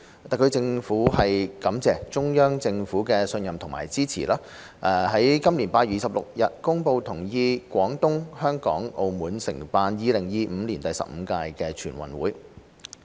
特區政府感謝中央政府的信任和支持，於今年8月26日公布同意廣東、香港、澳門承辦2025年第十五屆全運會。